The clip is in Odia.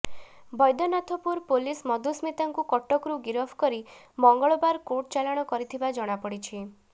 ବୈଦ୍ୟନାଥପୁର ପୁଲିସ ମଧୁସ୍ମିତାଙ୍କୁ କଟକରୁ ଗିରଫ କରି ମଙ୍ଗଳବାର କୋର୍ଟ ଚାଲାଣ କରିଥିବା ଜଣାପଡ଼ିଛି